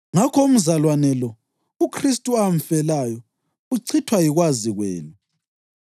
Ngakho umzalwane lo, uKhristu amfelayo, uchithwa yikwazi kwenu.